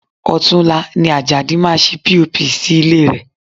Ọ̀tunla ni Ajadi máa ṣe POP sí ilé rẹ̀